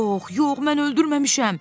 Yox, yox, mən öldürməmişəm.